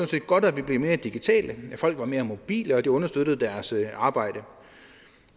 set godt at vi blev digitale at folk var mere mobile og det understøttede deres arbejde